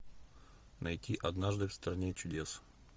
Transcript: найти однажды в стране чудес